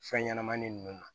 Fɛn ɲɛnɛmanin nunnu na